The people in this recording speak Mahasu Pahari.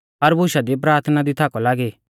हर बुशा दी प्राथना दी थाकौ लागी